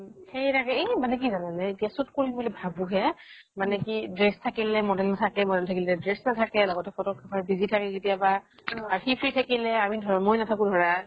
সেই তাকেই । মানে কি জানা নে shoot কৰিম বুলি ভাবো হে মানে কি dress থাকিলে model নাথাকে । model থাকিলে dress নাথাকে । লগতে photographer busy থাকে কেতিয়াবা আৰু সি free থাকিলে আমি মই নাথাকো ধৰা ।